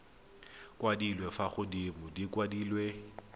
kwadilwe fa godimo di kwadilwe